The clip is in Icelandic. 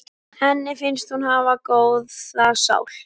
Henni finnst hún hafa góða sál.